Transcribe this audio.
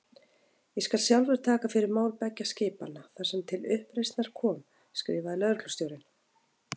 Ég skal sjálfur taka fyrir mál beggja skipanna, þar sem til uppreisnar kom skrifaði lögreglustjórinn.